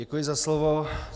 Děkuji za slovo.